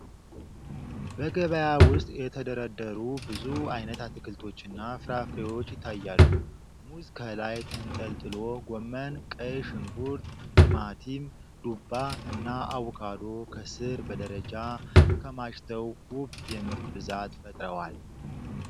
በገበያ ውስጥ የተደረደሩ ብዙ አይነት አትክልቶችና ፍራፍሬዎች ይታያሉ። ሙዝ ከላይ ተንጠልጥሎ፣ ጎመን፣ ቀይ ሽንኩርት፣ ቲማቲም፣ ዱባ እና አቮካዶ ከስር በደረጃ ተከማችተው ውብ የምርት ብዛት ፈጥረዋል።